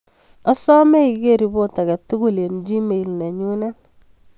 Asome iger ripot age tugul en gmail nenyunet